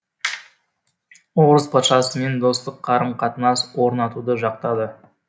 орыс патшасымен достық қарым қатынас орнатуды жақтады